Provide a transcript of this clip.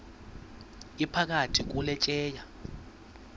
iphakathi kule tyeya